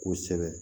Kosɛbɛ